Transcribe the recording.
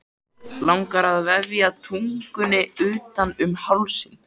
Langar að vefja tungunni utan um hálsinn.